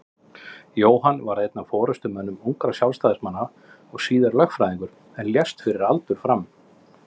Jóhann varð einn af forystumönnum ungra Sjálfstæðismanna og síðar lögfræðingur en lést fyrir aldur fram.